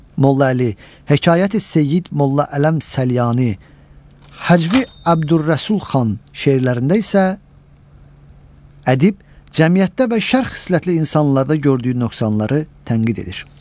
Molla Əli, Hekayəti Seyid Molla Ələm Səlyani, Həcvi Əbdürrəsul Xan şeirlərində isə ədib cəmiyyətdə və şərq xislətli insanlarda gördüyü nöqsanları tənqid edir.